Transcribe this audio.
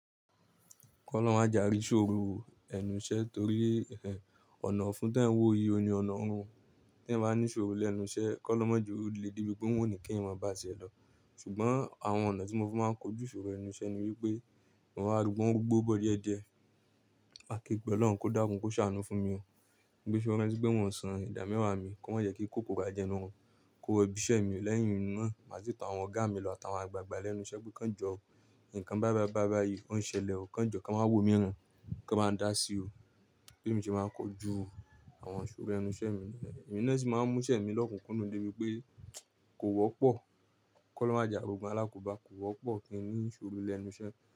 Kọ́ lọun máa jàrí ìṣòro ẹnu iṣẹ́ torí ọ̀nà ọ̀fun tí ẹn wo iye oni ọ̀nà ọ̀run tí ẹn bá ní ṣòro lẹ́nu iṣẹ́ kọ́ lọ máa ju ó le dé ibi pé ó wù ní kí ẹn máa bá a ṣẹ lọ. Ṣùgbọ́n àwọn ọ̀nà tí mo máa ń fi kojú ìṣòro ẹnu iṣẹ́ ni wípé, mo máa rúbọ gbó bọ̀ díẹ̀ díẹ̀. Máa ké gbẹ́ Ọlọ́run kó dákún kó ṣàánú fún mi o. Gbé ṣúbú ẹni tí gbẹ̀ wọ́n san ìdámẹ́wàá mi kó má yẹ kí kóko bá jẹnu ẹnu wọn. Kó wọ ibiṣẹ́ mi lẹ́yìn iná má sì tọ àwọn ọ̀gá mi lọ àtàwọn àgbàgbà lẹ́nu iṣẹ́ pé kí wọ́n jọ nǹkan bábábá bábá yìí ó ń ṣẹlẹ̀ o. Kí wọ́n jọ kí a máa wò mí ràn, kí a máa dá sí o. Pé mi ṣe máa kojú àwọn iṣòro ẹnu iṣẹ́ mi rẹ. Èmi náà sì máa ń mú iṣẹ́ mi lọ́kùnúnú dé ibi pé kò wọ́pọ̀. Kọ́ lọ máa jà ri ogun alákobá kò wọ́pọ̀ kí ẹ ní ṣòro lẹ́nu iṣẹ́